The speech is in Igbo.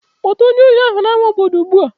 Kpọta onye ohi ahụ n'ama obodo ugbu a!